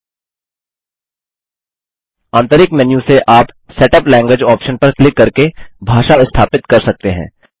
आंतरिक मेन्यू से आप सेटअप लैंग्वेज आप्शन पर क्लिक करके भाषा स्थापित कर सकते हैं